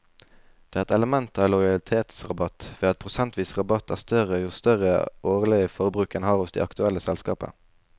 Det er et element av lojalitetsrabatt ved at prosentvis rabatt er større jo større årlig forbruk en har hos det aktuelle selskapet.